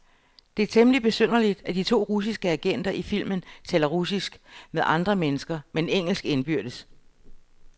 Det er temmeligt besynderligt, at de to russiske agenter i filmen taler russisk med andre mennesker, men engelsk indbyrdes.